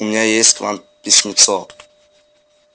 у меня есть к вам письмецо